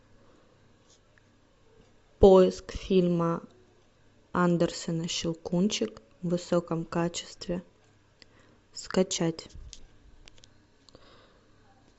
поиск фильма андерсена щелкунчик в высоком качестве скачать